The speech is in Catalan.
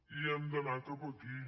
i hem d’anar cap aquí